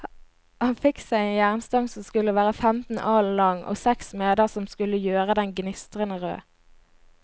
Han fikk seg en jernstang som skulle være femten alen lang, og seks smeder som skulle gjøre den gnistrende rød.